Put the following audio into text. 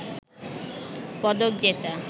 পদক জেতা